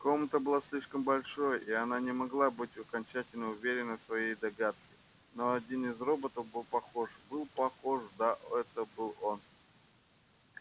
комната была слишком большой и она не могла быть окончательно уверена в своей догадке но один из роботов был похож был похож да это был он